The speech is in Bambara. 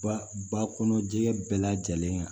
Ba ba kɔnɔ jɛgɛ bɛɛ lajɛlen ka